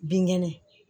Binkɛnɛ